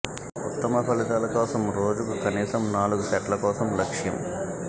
ఉత్తమ ఫలితాల కోసం రోజుకు కనీసం నాలుగు సెట్ల కోసం లక్ష్యం